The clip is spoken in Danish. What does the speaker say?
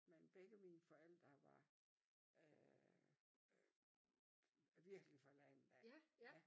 Men begge mine forældre var øh virkelig fra landet af ja